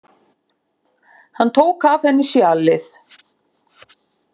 Hann tók af henni sjalið.